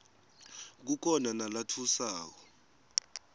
kukhona nalatfusako